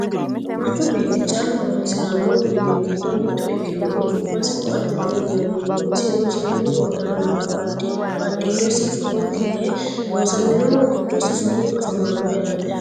manchu beetti callu horonsiranno uduunni giddo mitto ikkinohu su'masi ko"attete yinannihu isino seennu wodhannohu badhiidosi gotti yee loosaminohu giddosi fanu afamanno yaate